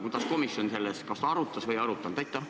Kuidas komisjon seda kas arutas või ei arutanud?